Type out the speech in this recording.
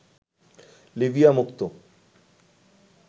Libya মুক্ত